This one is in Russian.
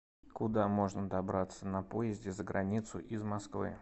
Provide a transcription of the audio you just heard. куда можно добраться на поезде за границу из москвы